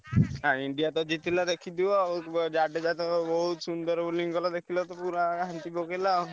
ଆଉ India ତ ଜିତିଲା ଦେଖିଥିବ ଆଉ ଜଡେଜା ତ ବହୁତ ସୁନ୍ଦର bowling କଲା ଦେଖିଲ ତ ପୁରା ଘାଣ୍ଟି ପକେଇଲ ଆଉ।